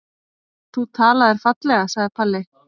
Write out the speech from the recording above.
Þú talaðir fallega, sagði Palli.